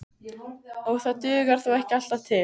Og dugar það þó ekki alltaf til.